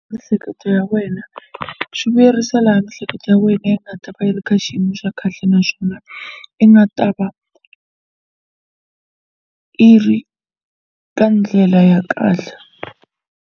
Miehleketo ya wena swi vuyerisa laha miehleketo ya wena yi nga ta va yi ri ka xiyimo xa kahle naswona i nga ta va i ri ka ndlela ya kahle.